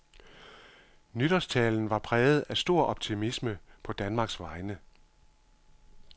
Nytårstalen var præget af stor optimisme på Danmarks vegne.